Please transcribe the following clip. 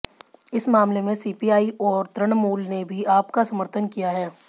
इस मामले में सीपीआई और तृणमूल ने भी आप का समर्थन किया था